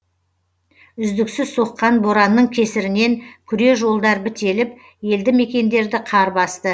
үздіксіз соққан боранның кесірінен күре жолдар бітеліп елді мекендерді қар басты